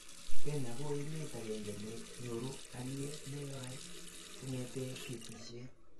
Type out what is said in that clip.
Kenya ko emet agenge ne nyoru aliye nwai kongete batishet